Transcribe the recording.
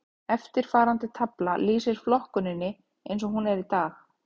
Eftirfarandi tafla lýsir flokkuninni eins og hún er í dag.